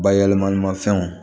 Bayɛlɛmanimafɛnw